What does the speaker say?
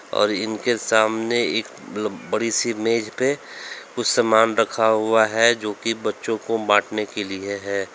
और इनके सामने एक ब बड़ी सी मेज पे कुछ सामान रखा हुआ है जो कि बच्चों को बांटने के लिए है।